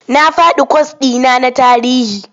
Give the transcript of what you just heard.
Na faɗi kwas ɗi na na tarihi.